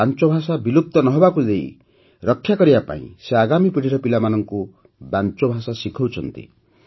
ବାଂଚୋ ଭାଷା ବିଲୁପ୍ତ ନ ହେବାକୁ ଦେଇ ରକ୍ଷା କରିବାକୁ ସେ ଆଗାମୀ ପିଢ଼ୀର ପିଲାମାନଙ୍କୁ ବାଂଚୋ ଭାଷା ଶିଖାଉଛନ୍ତି